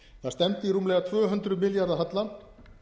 það stefni í rúmlega tvö hundruð milljarða halla